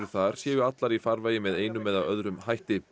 þar séu allar í farvegi með einum eða öðrum hætti